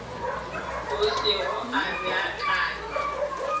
a se go a beakanywa